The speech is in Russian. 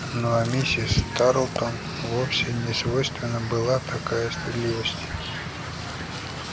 ну а миссис тарлтон вовсе не свойственна была такая стыдливость